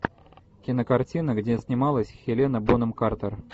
кинокартина где снималась хелена бонем картер